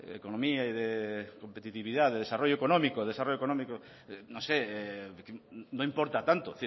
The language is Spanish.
economía y de competitividad de desarrollo económico desarrollo económico no sé no importa tanto